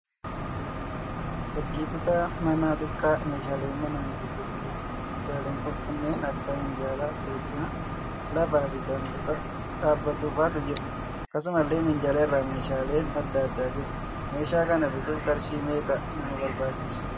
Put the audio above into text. Fakkii kutaa manaa xiqqaa meeshaalee manaan guutee jiruudha. Meeshaaleen kanneen akka minjaalaa, teessuma laafaa fi saanduqa dhaabbatufaatu jira. Akkasumallee minjaala irra meeshaaleen adda addaa jiru. Meeshaa kana bituuf qarshii meeqa nama barbaachisa?